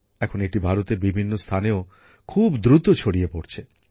এখন এটি ভারতের বিভিন্ন স্থানেও খুব দ্রুত ছড়িয়ে পড়ছে